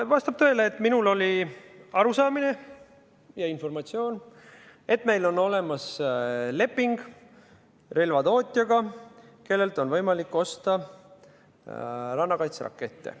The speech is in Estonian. Vastab tõele, et minul oli arusaamine ja informatsioon, et meil on olemas leping relvatootjaga, kellelt on võimalik osta rannakaitserakette.